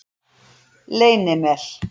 Leynimel